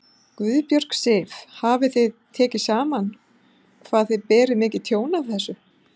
Guðbjörg Sif: Hafið þið tekið saman hvað þið berið mikið tjón af þessu?